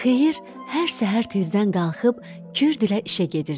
Xeyir hər səhər tezdən qalxıb Kürdlə işə gedirdi.